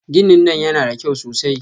Ginin nan yana da kyau sosai.